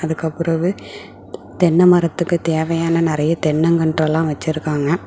இதுக்கப்பறவு தென்ன மரத்துக்கு தேவையான நெறைய தென்னங் கன்றெல்லாம் வச்சிருக்காங்க.